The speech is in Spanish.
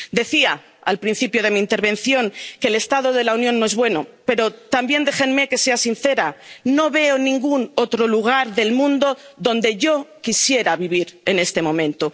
Decía, al principio de mi intervención, que el estado de la Unión no es bueno, pero también, déjenme que sea sincera, no veo ningún otro lugar del mundo donde yo quisiera vivir en este momento.